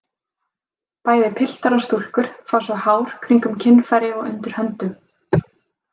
Bæði piltar og stúlkur fá svo hár kringum kynfæri og undir höndum.